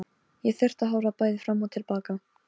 Ég þurfti að horfa bæði fram og til baka.